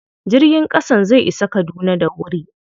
Jirgin ƙasan zai isa Kaduna da wuri.